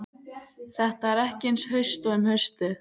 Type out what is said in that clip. Þetta er ekki eins haust og um haustið.